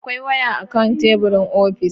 Akwai waya akan teburin ofis.